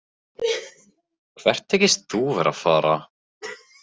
Hvert þykist þú vera að fara?